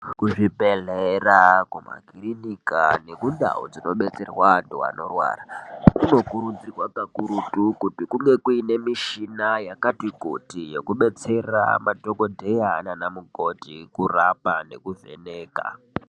Kuzvibhedhlera kumakirinika nekundau dzinobetserwa vantu vanorwara kunokurudzirwa kakurutu kunge kuine mishina yakati kuti yeku